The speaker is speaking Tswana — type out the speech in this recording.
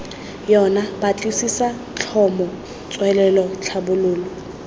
yona batlisisa tlhomo tswelelo tlhabololo